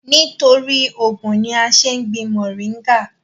nítorí ògùn ni a ń ṣé gbin mọ̀ríngà